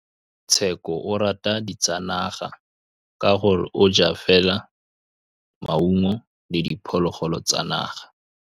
Tshekô o rata ditsanaga ka gore o ja fela maungo le diphologolo tsa naga.